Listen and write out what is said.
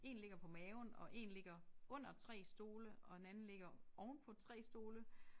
1 ligger på maven og 1 ligger under 3 stole og en anden ligger ovenpå 3 stole